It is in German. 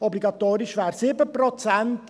Obligatorisch wären 7 Prozent.